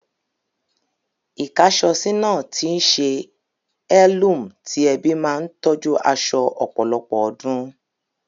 Ikàásọsi náà tíí se heirloom ti ẹbí ma n tójú aso ọ̀pọ̀lọpọ̀ odún